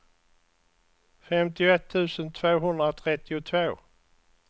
femtioett tusen tvåhundratrettiotvå